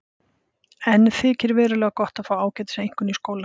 Enn þykir verulega gott að fá ágætiseinkunn í skóla.